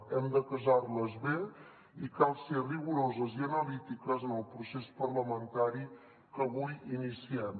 hem de casar les bé i cal ser rigoroses i analítiques en el procés parlamentari que avui iniciem